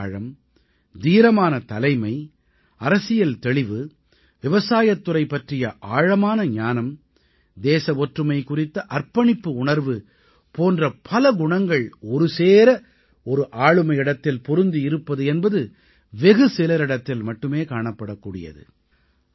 கருத்தாழம் தீரமான தலைமை அரசியல் தெளிவு விவசாயத்துறை பற்றிய ஆழமான ஞானம் தேச ஒற்றுமை குறித்த அர்ப்பணிப்பு உணர்வு போன்ற பல குணங்கள் ஒருசேர ஒரு ஆளுமையிடத்தில் பொருந்தி இருப்பது என்பது வெகு சிலரிடத்தில் மட்டுமே காணப்படக் கூடியது